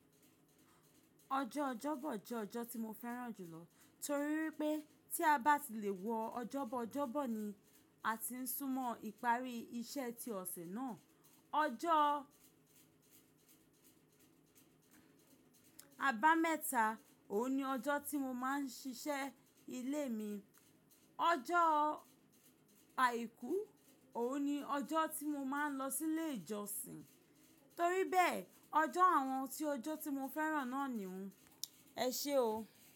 Ọjọ́ Ọjọ́bọ̀ jẹ́ ọjọ́ tí mo fẹ́ràn jùlọ. Torí pé tí a bá ti lè wọ Ọjọ́bọ̀, Ọjọ́bọ̀ ni a ti ń súnmọ́ ìparí iṣẹ́ ti ọ̀sẹ̀ náà. Ọjọ́ àbámẹ́ta, òun ni ọjọ́ tí mo máa ń ṣiṣẹ́ ilé mi. Ọjọ́ Àìkú, òun ni ọjọ́ tí mo máa ń lọ sí ilé ìjọsìn. Torí bẹ́ẹ̀, ọjọ́ àwọn tí ọjọ́ tí mo fẹ́ràn náà nìí hun. Ẹ ṣé o.